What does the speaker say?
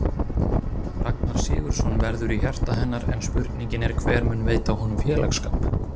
Ragnar Sigurðsson verður í hjarta hennar en spurningin er hver mun veita honum félagsskap?